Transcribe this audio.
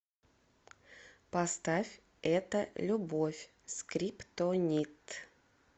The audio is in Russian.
поставь это любовь скриптонит